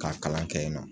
K'a kalan kɛ yen nɔ